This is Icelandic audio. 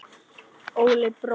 Óli bróðir.